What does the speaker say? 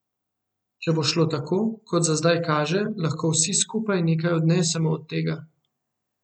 Če bo šlo tako, kot za zdaj kaže, lahko vsi skupaj nekaj odnesemo od tega.